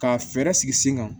Ka fɛɛrɛ sigi sen kan